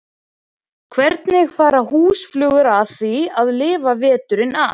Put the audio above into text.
Hvernig fara húsflugur að því að lifa veturinn af?